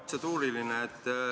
Protseduuriline jah.